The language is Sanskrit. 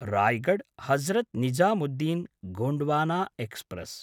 रायगढ् हजरत् निजामुद्दीन् गोण्ड्वाना एक्स्प्रेस्